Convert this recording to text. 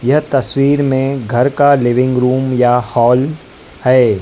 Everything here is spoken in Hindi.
यह तस्वीर में घर का लिविंग रूम या हॉल हैं।